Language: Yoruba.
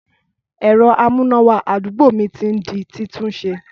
Ẹ̀rọ amúnáwá àdúgbò mi ti n di títúnse